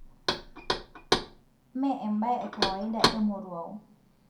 me ebae ekawaida emoruo.